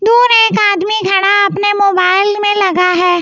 दूर एक आदमी खड़ा अपने मोबाइल में लगा है।